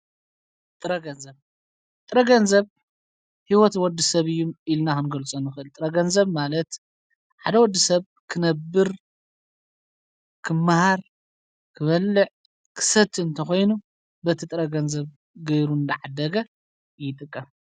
።ጥረገንብ ጥረገንዘብ ሕይወት ወዲ ሰብ እዩ ኢልናምገልጸኑኽል ጥረገንዘብ ማለት ሓደ ወዲ ሰብ ክነብር ክመሃር ኽበልዕ ክሰት እንተኾይኑ በቲ ጥረገንዘብ ገይሩ ዳዓደገ ይጥቀም።